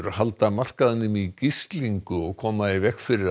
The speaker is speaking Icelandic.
halda markaðinum í gíslingu og koma í veg fyrir